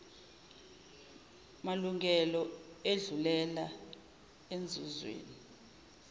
malungelo edlulela enzuzweni